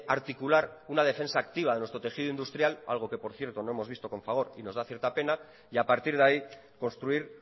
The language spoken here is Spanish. articular una defensa activa de nuestro tejido industrial algo que por cierto no hemos visto con fagor y nos da cierta pena y a partir de ahí construir